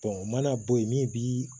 o mana bɔ yen min bi